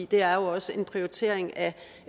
det er jo også en prioritering af